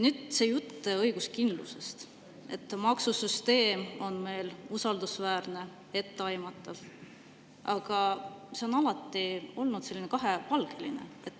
See jutt õiguskindlusest, et maksusüsteem on meil usaldusväärne ja etteaimatav, on alati olnud kahepalgeline.